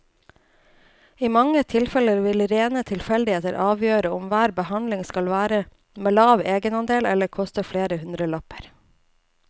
I mange tilfeller vil rene tilfeldigheter avgjøre om hver behandling skal være med lav egenandel eller koste flere hundrelapper.